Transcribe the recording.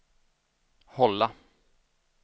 hålla